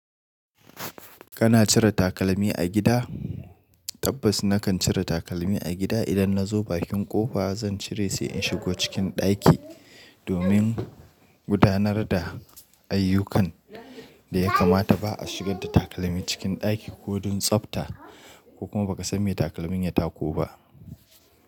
Kana cire takalmi a gida? Tabbas nakan cire takalmi a gida. Idan na zo bakin ƙofa, zan cire sai in shigo cikin ɗaki. Domin gudanar da ayyukan da ya kamata ba a shigar da takalmi cikin ɗaki ko don tsafta ko kuma ba ka san me takalmin ya tako ba.